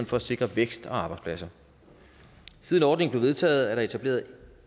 for at sikre vækst og arbejdspladser siden ordningen blev vedtaget er der etableret